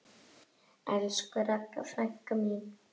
Elsku Ragga frænka mín.